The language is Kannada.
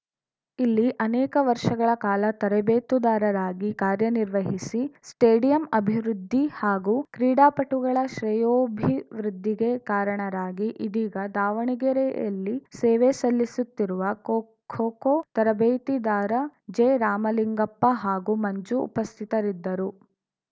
ಇಲ್ಲಿ ಅನೇಕ ವರ್ಷಗಳ ಕಾಲ ತರಬೇತುದಾರರಾಗಿ ಕಾರ್ಯನಿರ್ವಹಿಸಿ ಸ್ಟೇಡಿಯಂ ಅಭಿವೃದ್ಧಿ ಹಾಗೂ ಕ್ರೀಡಾಪಟುಗಳ ಶ್ರೇಯೋಭಿವೃದ್ಧಿಗೆ ಕಾರಣರಾಗಿ ಇದೀಗ ದಾವಣಗೆರೆಯಲ್ಲಿ ಸೇವೆ ಸಲ್ಲಿಸುತ್ತಿರುವ ಖೋ ಖೋ ತರಬೇತಿದಾರ ಜೆರಾಮಲಿಂಗಪ್ಪ ಹಾಗೂ ಮಂಜು ಉಪಸ್ಥಿತರಿದ್ದರು